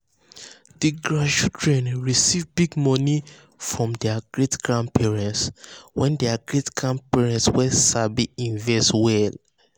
di grandchildren receive big money from their great-grandparents wey their great-grandparents wey sabi invest well.